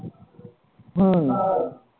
હમ